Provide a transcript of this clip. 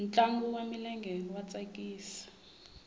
ntlangu wa milenge wa tsakisa